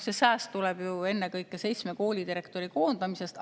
See sääst tuleb ennekõike seitsme koolidirektori koondamisest.